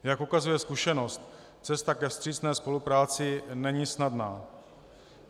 Jak ukazuje zkušenost, cesta ke vstřícné spolupráci není snadná.